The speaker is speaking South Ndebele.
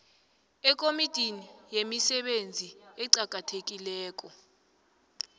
ekomitini yemisebenzi eqakathekileko